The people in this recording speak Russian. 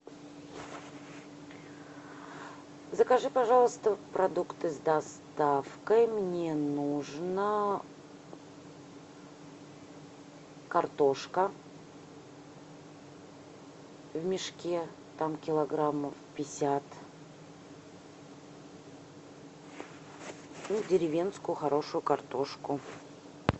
закажи пожалуйста продукты с доставкой мне нужно картошка в мешке там килограммов пятьдесят и деревенскую хорошую картошку